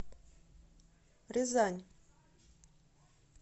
рязань